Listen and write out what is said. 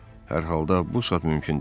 Hər halda bu saat mümkün deyil.